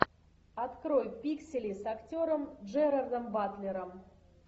открой пиксели с актером джерардом батлером